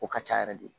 O ka ca yɛrɛ de